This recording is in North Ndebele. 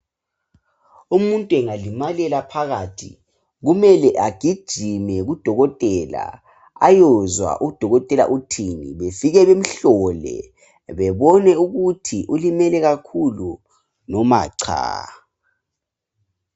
Umuntu engalimalela phakathi , kumele agijime kudokotela, ayokuzwa ukuthi udokotela uthini, bafike bamhlole, babone ukuthi ulimele kakhulu noma cha.